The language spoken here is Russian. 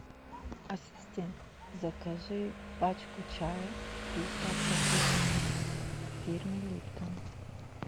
ассистент закажи пачку чая пятьдесят пакетиков фирмы липтон